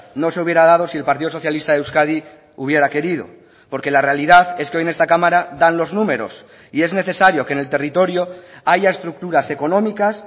no se hubiera dado si el partido socialista de euskadi hubiera querido porque la realidad es que hoy en esta cámara dan los números y es necesario que en el territorio haya estructuras económicas